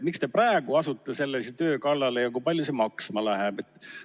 Miks te praegu asute sellise töö kallale ja kui palju see maksma läheb?